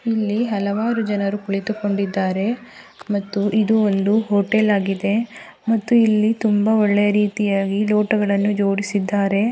ಇಲ್ಲಿ ಹಲವಾರು ಜನರು ಕುಳಿತುಕೊಂಡಿದ್ದಾರೆ ಮತ್ತು ಇದು ಒಂದು ಹೋಟೆಲ್ ಆಗಿದೆ ಮತ್ತು ಇಲ್ಲಿ ತುಂಬಾ ಒಳ್ಳೆಯ ರೀತಿಯಾಗಿ ಲೋಟಗಳನ್ನು ಜೋಡಿಸಿದ್ದಾರೆ.